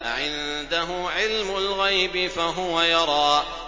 أَعِندَهُ عِلْمُ الْغَيْبِ فَهُوَ يَرَىٰ